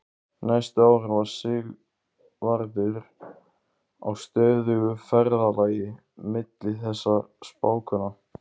Næstu árin var Sigvarður á stöðugu ferðalagi milli þessara spákvenna.